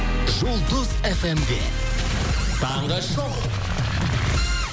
жұлдыз фм де таңғы шоу